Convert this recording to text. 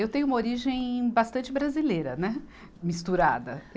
Eu tenho uma origem bastante brasileira, né, misturada.